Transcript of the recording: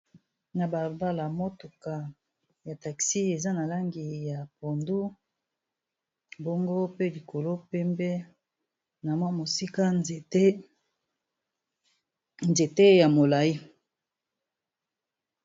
na balabala motuka ya taxi eza na langi ya pondu bongo pe likolo pembe na mwa mosika nzete ya molayi